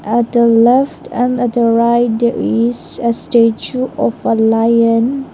at the left and at the right there is a statue of a lion.